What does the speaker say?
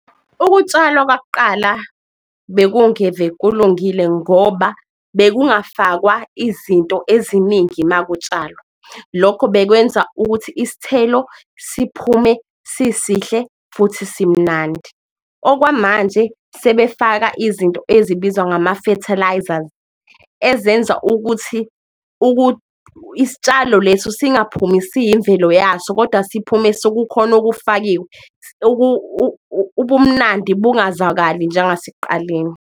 Ukutshalwa kwakuqala bekungeve kulungile ngoba bekungafakwa izinto eziningi makutshalwa, lokho bekwenza ukuthi isithelo siphume sisihle futhi simnandi. Okwamanje, sebefaka izinto ezibizwa ngama-fertilisers ezenza ukuthi isitshalo leso singaphumi siyimvelo yaso, kodwa siphume sokukhona okufakiwe, ubumnandi bungazakali njengasekuqaleni.